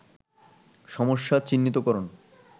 সমস্যা চিহ্নিত করণ